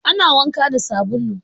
Ana wanka da sabulu.